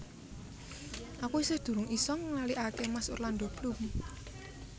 Aku isih durung iso nglaliake mas Orlando Bloom